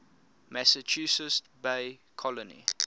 massachusetts bay colony